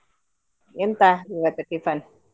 ಎಂತಾ ಇವತ್ತು tiffin ?